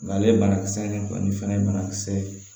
Nga ale banakisɛ in kɔni fɛnɛ ye banakisɛ ye